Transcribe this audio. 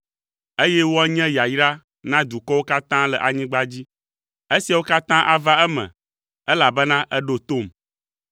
eye woanye yayra na dukɔwo katã le anyigba dzi. Esiawo katã ava eme, elabena èɖo tom.”